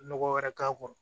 Nɔgɔ wɛrɛ k'a kɔrɔ